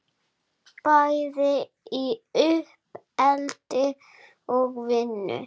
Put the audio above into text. Bæði í uppeldi og vinnu.